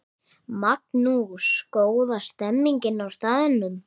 Magnús: Góð stemning á staðnum?